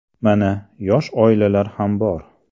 Mana, yosh oilalar ham bor.